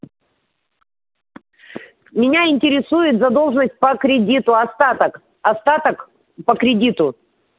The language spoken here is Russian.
меня интересует задолженность по кредиту остаток остаток по кредиту